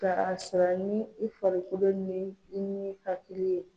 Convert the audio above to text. Ka sara ni i farikolo ni i n'i hakili ye.